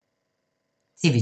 TV 2